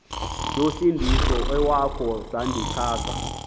yosindiso iwakho sandixhasa